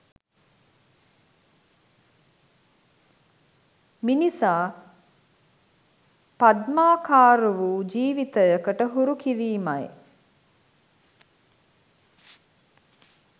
මිනිසා පද්මාකාර වූ ජීවිතයකට හුරු කිරීමයි.